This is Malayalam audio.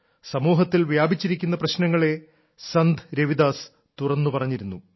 സമൂഹത്തിൽ വ്യാപിച്ചിരിക്കുന്ന പ്രശ്നങ്ങളെ സന്ത് രവിദാസ് തുറന്നുപറഞ്ഞിരുന്നു